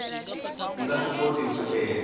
yi nga swikoti ku endla